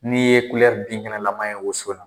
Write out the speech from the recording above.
N'i ye kulɛRI binkɛnɛnama ye woso la